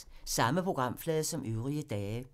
Samme programflade som øvrige dage